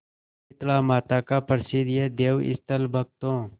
शीतलामाता का प्रसिद्ध यह देवस्थल भक्तों